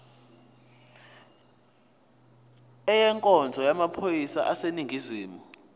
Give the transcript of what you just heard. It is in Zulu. ezenkonzo yamaphoyisa aseningizimu